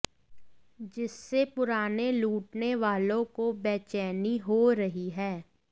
जिससे पुराने लूटने वालों को बैचेनी हो रही है